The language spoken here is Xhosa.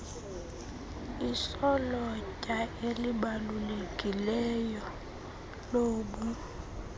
isolotya elibalulekileyo lobu